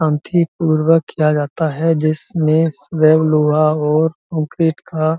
अंथी पूर्वक किया जाता है जिसमे सेवम लोहा और कोन्किरीट का --